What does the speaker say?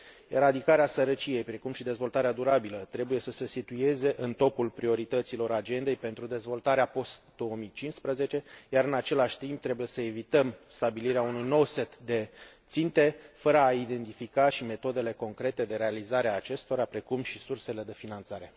Eradicarea sărăciei, precum și dezvoltarea durabilă trebuie să se situeze în topul priorităților agendei pentru dezvoltarea post 2015, iar în același timp trebuie să evităm stabilirea unui nou set de ținte, fără a identifica și metodele concrete de realizare a acestora, precum și sursele de finanțare.